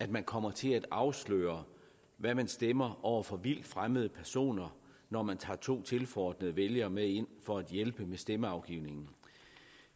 at man kommer til at afsløre hvad man stemmer over for vildt fremmede personer når man tager to tilforordnede vælgere med ind for at hjælpe med stemmeafgivningen